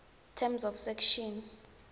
terms of section